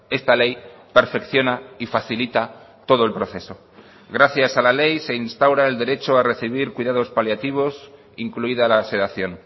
esta ley perfecciona y facilita todo el proceso gracias a la ley se instaura el derecho a recibir cuidados paliativos incluida la sedación